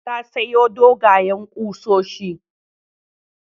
Ta sayo dogwayen ƙusoshi.